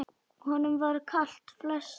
Honum var kalt flestar nætur.